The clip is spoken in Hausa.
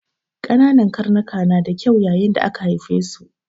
Ƙananan karnika na da kyau yayin da aka haife su.